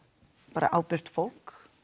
bara ábyrgt fólk